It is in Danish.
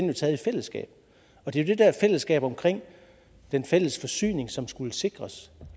jo taget i fællesskab og det er det fællesskab om den fælles forsyning som skulle sikres